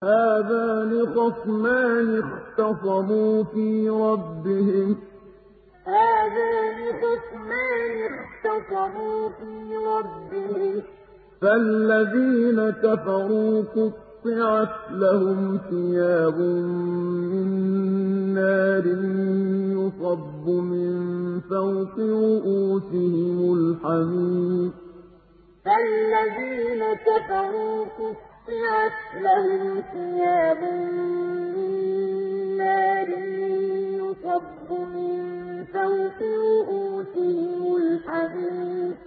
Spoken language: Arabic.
۞ هَٰذَانِ خَصْمَانِ اخْتَصَمُوا فِي رَبِّهِمْ ۖ فَالَّذِينَ كَفَرُوا قُطِّعَتْ لَهُمْ ثِيَابٌ مِّن نَّارٍ يُصَبُّ مِن فَوْقِ رُءُوسِهِمُ الْحَمِيمُ ۞ هَٰذَانِ خَصْمَانِ اخْتَصَمُوا فِي رَبِّهِمْ ۖ فَالَّذِينَ كَفَرُوا قُطِّعَتْ لَهُمْ ثِيَابٌ مِّن نَّارٍ يُصَبُّ مِن فَوْقِ رُءُوسِهِمُ الْحَمِيمُ